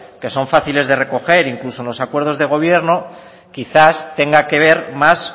que son fáciles de recoger incluso en los acuerdos de gobierno quizás tenga que ver más